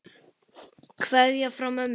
Kveðja frá mömmu.